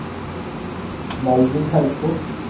Malvin Haukås